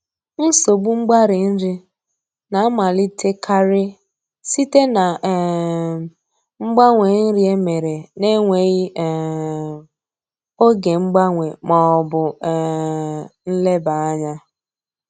Nsogbu mgbari nri na-amalitekarị site na um mgbanwe nri emere na-enweghị um oge mgbanwe ma ọ bụ um nleba anya